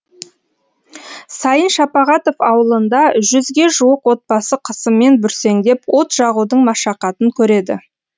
сайын шапағатов ауылында жүзге жуық отбасы қысымен бүрсеңдеп от жағудың машақатын көреді